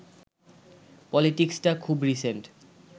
পলিটিক্সটা খুব রিসেন্ট